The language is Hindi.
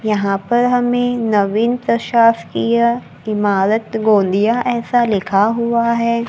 यहां पर हमें नवीन प्रसाद किया इमारत गोदिया ऐसा लिखा हुआ है।